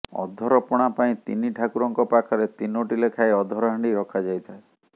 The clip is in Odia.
ଅଧରପଣା ପାଇଁ ତିନି ଠାକୁରଙ୍କ ପାଖରେ ତିନୋଟି ଲେଖାଏଁ ଅଧର ହାଣ୍ଡି ରଖାଯାଇଥାଏ